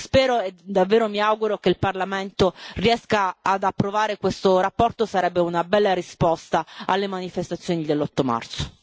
Spero, e davvero mi auguro, che il Parlamento riesca ad approvare questa relazione sarebbe una bella risposta alle manifestazioni dell'8 marzo.